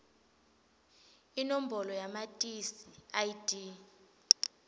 inombolo yamatisi id